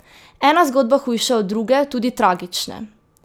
Ena zgodba hujša od druge, tudi tragične!